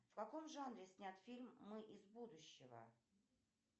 в каком жанре снят фильм мы из будущего